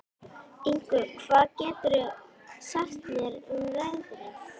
Yngvi, hvað geturðu sagt mér um veðrið?